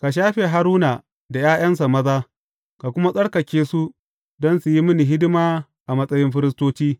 Ka shafe Haruna da ’ya’yansa maza, ka kuma tsarkake su don su yi mini hidima a matsayin firistoci.